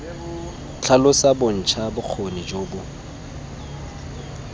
tlhalosa bontsha bokgoni jo bo